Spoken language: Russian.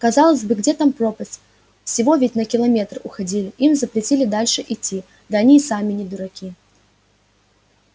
казалось бы где там пропасть всего ведь на километр уходили им запретили дальше идти да они и сами не дураки